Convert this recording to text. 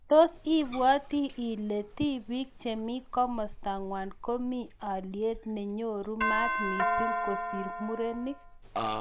Tos ibwoti ile tobik chemi kimosta ngwong komi alyet nenyoru maat missing kosir murenik?